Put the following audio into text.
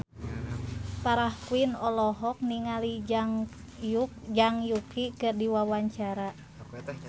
Farah Quinn olohok ningali Zhang Yuqi keur diwawancara